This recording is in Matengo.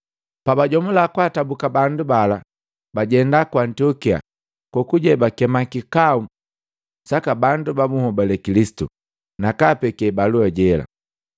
Pabajomula kwaatabuka bandu bala, bajenda ku Antiokia kokuje bakema kikau saka bandu babuhobale Kilisitu, nakaapeke balua jela.